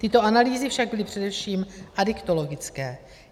Tyto analýzy však byly především adiktologické.